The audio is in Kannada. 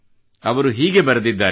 ಅವರು ಹೀಗೆ ಬರೆದಿದ್ದಾರೆ